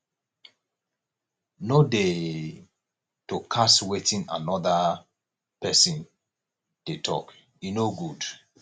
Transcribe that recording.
no dey to cast wetin anoda pesin dey tok e no good